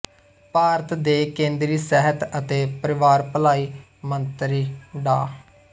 ਭਾਰਤ ਦੇਕੇਂਦਰੀ ਸਿਹਤ ਅਤੇ ਪਰਿਵਾਰ ਭਲਾਈ ਮੰਤਰੀ ਡਾ